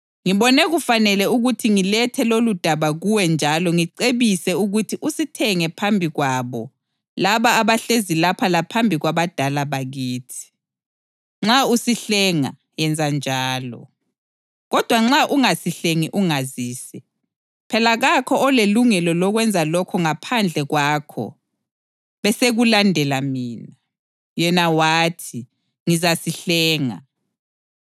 Ngibone kufanele ukuthi ngilethe loludaba kuwe njalo ngicebise ukuthi usithenge phambi kwabo laba abahlezi lapha laphambi kwabadala bakithi. Nxa usihlenga, yenza njalo. Kodwa nxa ungasihlengi ungazise. Phela kakho olelungelo lokwenza lokho ngaphandle kwakho, besekulandela mina.” Yena wathi, “Ngizasihlenga.”